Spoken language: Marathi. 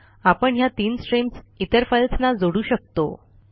आपण ह्या तीन स्ट्रीम्स इतर फाईल्सना जोडू शकतो